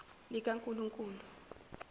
likankulunkulu